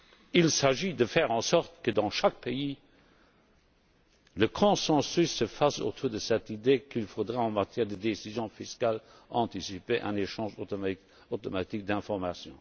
il s'agit de faire en sorte que, dans chaque pays, le consensus s'établisse autour de cette idée qu'il faudra, en matière de décision fiscale anticipée, un échange automatique d'informations.